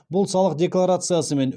бұл салық декларациясы мен